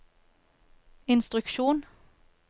instruksjon